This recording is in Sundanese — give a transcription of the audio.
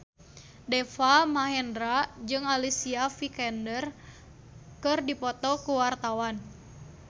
Deva Mahendra jeung Alicia Vikander keur dipoto ku wartawan